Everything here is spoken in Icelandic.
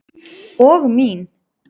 Og mín.